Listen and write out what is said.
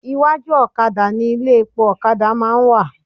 Iwájú òkadà ni ilé epo òkadà má a ń wà